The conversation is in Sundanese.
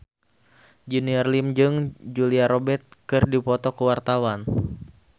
Junior Liem jeung Julia Robert keur dipoto ku wartawan